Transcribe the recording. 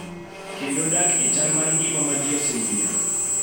kendo dak e chal mar ngima ma ji oseyiero